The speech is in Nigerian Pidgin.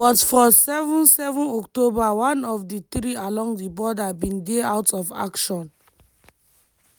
but for 7 7 october one of di three along di border bin dey out of action.